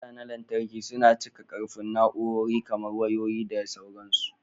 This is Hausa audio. Caja na lantarki suna cika ƙarfin na'urori kamar wayoyi, da sauransu.